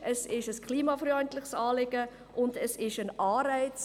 Es ist ein klimafreundliches Anliegen, und es ist ein Anreiz.